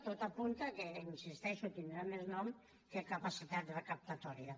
tot apunta que hi insisteixo tindrà més nom que capacitat recaptatòria